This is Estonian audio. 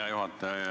Hea juhataja!